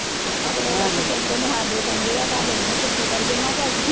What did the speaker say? ਅਗਲੇ ਲੋਕੀ ਕਹਿੰਦੇ ਨੇ ਸਾਡੇ ਚੰਗੇ ਹੈ ਤੁਹਾਡੇ ਮੂੰਹ ਵਰਗੇ ਮੈਂ ਕਿਹਾ ਅਸੀਂ